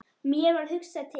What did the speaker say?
Mér varð hugsað til